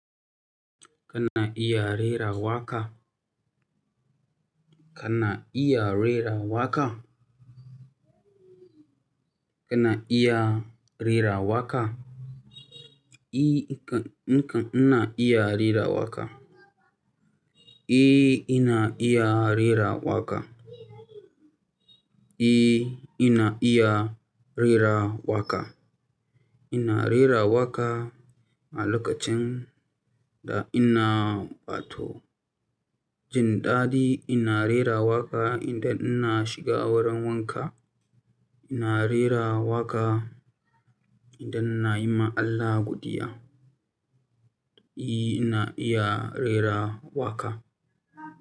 Kana iya rera waƙa? Kana iya rera waƙa? Kana iya rera waƙa? I, nka, nka, ina iya rera waka. I, ina iya rera waƙa. I, ina iya rera waƙa. Ina rera waka a lokacin da ina bato. Jin dadi ina rera waka idan ina shiga wurin wanka. Ina rera waka idan nayi ma Allah godiya. I, ina iya rera waƙa.